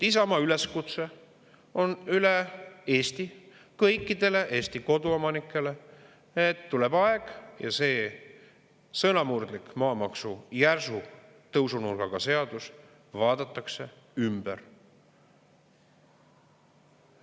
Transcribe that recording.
Isamaa üleskutse on üle Eesti kõikidele Eesti koduomanikele: tuleb aeg ja see sõnamurdlik maamaksu järsu tõusunurgaga seadus vaadatakse ümber.